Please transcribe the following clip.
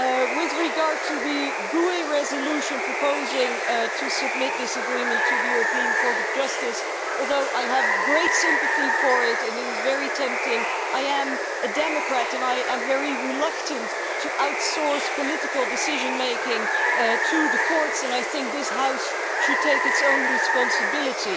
With regard to the GUE resolution proposing to submit this agreement to the European Court of Justice although I have great sympathy for it and it is very tempting, I am a Democrat and I am very reluctant to outsource political decision making to the courts, and I think that this House should take its own responsibility.